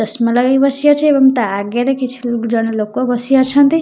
ଚଷମା ଲଗାଇ ବସିଅଛି ଏବଂ ତା ଆଗରେ କିଛି ଜଣେ ଲୋକ ବସି ଅଛନ୍ତି ।